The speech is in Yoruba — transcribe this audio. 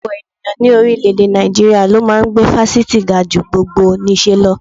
Ọ̀pọ̀ ènìyàn ní orílẹ̀-èdè Nàìjíríà ló máa ń gbé fásitì ga ju gbogbonìṣe lọ